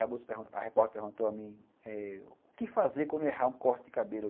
Aí, a repórter perguntou a mim eh, o que fazer quando errar um corte de cabelo?